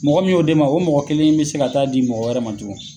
Mɔgɔ min y'o d'e ma o mɔgɔ kelen in be se ka taa di mɔgɔ wɛrɛ man tugun